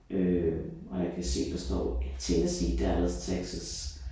Øh og jeg kan se der står Tennessee Dallas Texas